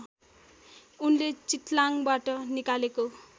उनले चित्लाङबाट निकालेको